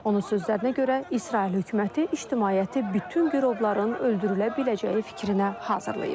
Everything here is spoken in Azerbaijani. Onun sözlərinə görə, İsrail hökuməti ictimaiyyəti bütün girovların öldürülə biləcəyi fikrinə hazırlayıb.